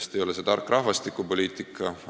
See ei ole tark rahvastikupoliitika.